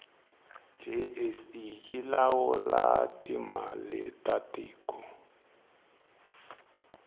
jse yilawula timaletatiko